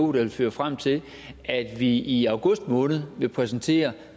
vil føre frem til at vi i august måned vil præsentere